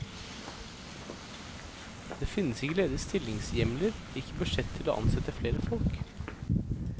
Det finnes ikke ledige stillingshjemler, ikke budsjett til å ansette flere folk.